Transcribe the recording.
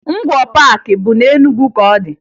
Ngwoo Paakị bụ na Enugwu ka ọ dị